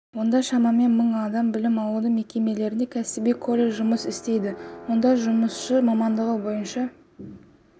онда шамамен мың адам білім алуда мекемелерде кәсіби колледж жұмыс істейді онда жұмысшы мамандығы бойынша